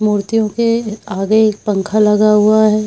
मूर्तियों के आगे एक पंख लगा हुआ है।